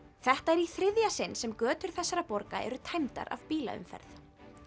þetta er í þriðja sinn sem götur þessara borga eru tæmdar af bílaumferð